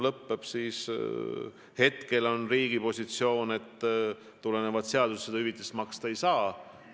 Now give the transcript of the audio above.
Hetkel on riigi positsioon, et tulenevalt seadusest seda hüvitist maksta ei saa.